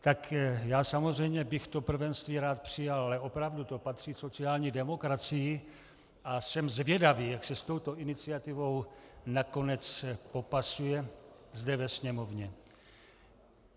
Tak já samozřejmě bych to prvenství rád přijal, ale opravdu to patří sociální demokracii a jsem zvědavý, jak se s touto iniciativou nakonec popasuje zde ve Sněmovně.